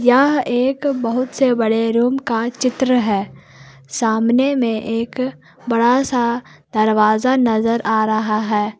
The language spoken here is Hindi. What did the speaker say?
यह एक बहुत से बड़े रूम का चित्र है सामने में एक बड़ासा दरवाजा नजर आ रहा है।